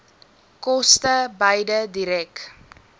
koste beide direk